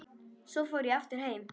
Svo ég fór aftur heim.